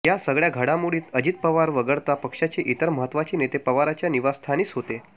या सगळ्या घडामोडीत अजित पवार वगळता पक्षाचे इतर महत्वाचे नेते पवारांच्या निवासस्थानीच होते